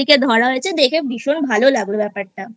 ধরা হয়েছে দেখে ভীষণ ভালো লাগলো ব্যাপারটা